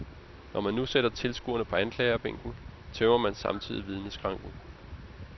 Når man nu sætter tilskuerne på anklagebænken, tømmer man samtidig vidneskranken.